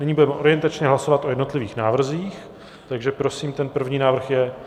Nyní budeme orientačně hlasovat o jednotlivých návrzích, takže prosím ten první návrh je?